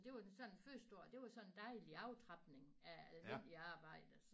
Så det var den sådan første år det var sådan en dejlig aftrapning af almindelig arbejde